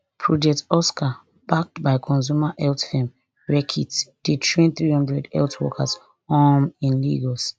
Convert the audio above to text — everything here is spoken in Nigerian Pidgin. project oscar backed by consumer health firm reckitt dey train three hundred health workers um in lagos